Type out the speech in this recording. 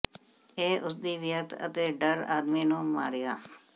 ਇਹ ਉਸ ਦੀ ਵਿਅਰਥ ਅਤੇ ਡਰ ਆਦਮੀ ਨੂੰ ਮਾਰਿਆ